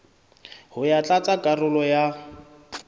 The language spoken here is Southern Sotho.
ho ya tlatsa karolo ya